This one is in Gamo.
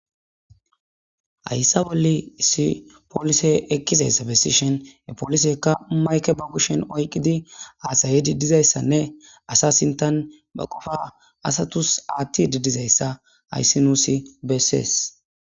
ayssa bolle issi polise ekkizayssa bessishen he polisekka mayke bagushen oyqqidi aasayedi dizayssanne asa sintan ba qofa asatus aatti didizayssa hayssi nuusi beessies